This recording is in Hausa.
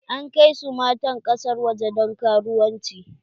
An kai su matan ƙasar waje don karuwanci.